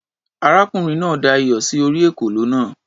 Arákùnrin náà da iyọ̀ sí orí ekòló náà.